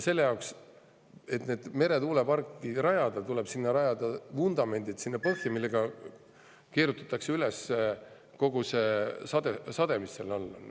Selle jaoks, et meretuuleparki rajada, tuleb rajada merepõhja vundamendid, mistõttu keerutatakse üles kogu see sade, mis seal on.